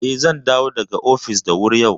Eh, zan dawo daga ofis da wuri yau.